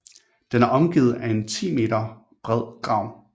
Den er omgivet af en 10 meter bred grav